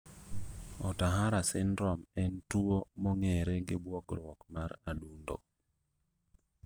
Ohtahara syndrome en tuo mong'ere gi buok mar adundo